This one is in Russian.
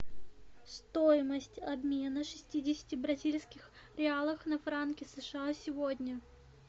стоимость обмена шестидесяти бразильских реалов на франки сша сегодня